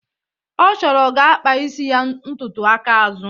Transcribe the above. ọ chọrọ ga akpa ya isi ntutu aka azụ.